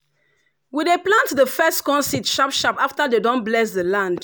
we dey plant the first corn seed sharp sharp after dem don bless the land.